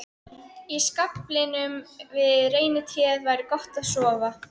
Í skaflinum við reynitréð væri gott að sofa.